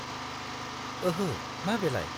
ओहो, मा बेलाय?